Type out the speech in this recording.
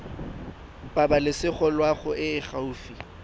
pabalesego loago e e gaufi